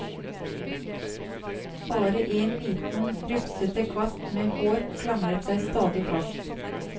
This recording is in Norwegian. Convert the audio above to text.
Bare en liten rufsete kvast med hår klamret seg stadig fast.